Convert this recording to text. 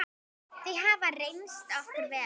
Þau hafa reynst okkur vel.